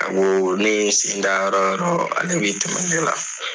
A ko ne ye n sen da yɔrɔ o yɔrɔ ale bɛ tɛmɛ ne la